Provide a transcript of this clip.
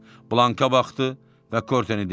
Blanka baxdı və Korteni dinlədi.